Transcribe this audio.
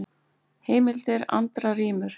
Heimildir: Andra rímur.